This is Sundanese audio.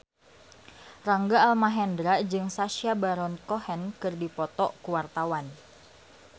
Rangga Almahendra jeung Sacha Baron Cohen keur dipoto ku wartawan